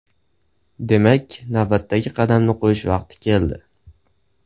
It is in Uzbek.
Demak, navbatdagi qadamni qo‘yish vaqti keldi.